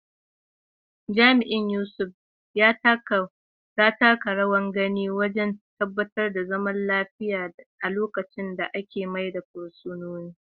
Jami’in Yusuf, ya taka rawar gani wajen tabbatar da zaman lafiya a lokacin da ake mayar da fursunonin.